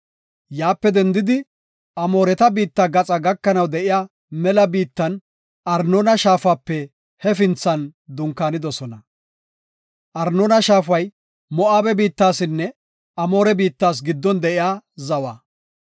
Yaape dendidi, Amooreta biitta gaxa gakanaw de7iya mela biittan Arnoona Shaafape hefinthan dunkaanidosona. Arnoona Shaafay Moo7abe biittasinne Amoore biittas giddon de7iya zawa.